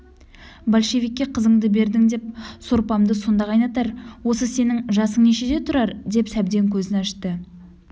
большевикке қызыңды бердің деп сорпамды сонда қайнатар осы сенің жасың нешеде тұрар деп сәбден көзін ашты